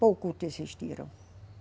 Poucos desistiram.